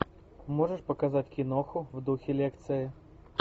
можешь показать киноху в духе лекции